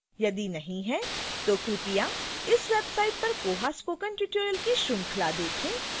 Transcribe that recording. यदि नहीं तो कृपया इस website पर koha spoken tutorial की श्रृंखला देखें